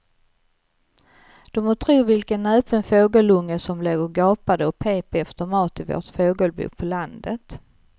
Du må tro vilken näpen fågelunge som låg och gapade och pep efter mat i vårt fågelbo på landet.